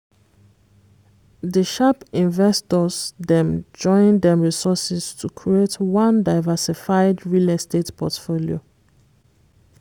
di sharp investors dem join dem resources to create one diversified real estate portfolio.